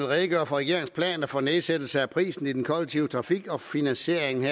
redegøre for regeringens planer for nedsættelse af prisen i den kollektive trafik og finansieringen